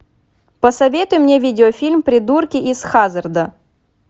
посоветуй мне видеофильм придурки из хаззарда